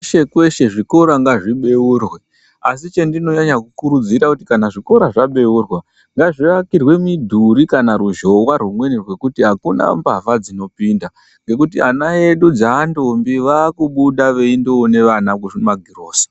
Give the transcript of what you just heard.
Kweshe kweshe zvikora ngazvibeurwe asi chandinonyanya kurudzira kuti kana zvikora zvabeurwa ngazvivakirwe mudhuri kana ruzhowa rwekuti akuna mbavha dzinopinda ngekuti vana vedu dzandombi vakubuda veindoona vana kuzvimagrosa.